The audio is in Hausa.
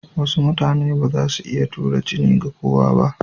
Wasu mutane ba za su iya tura jini ga kowa ba.